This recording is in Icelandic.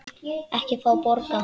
Ekki fá borga.